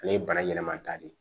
Ale ye bana ɲɛnaman ta de ye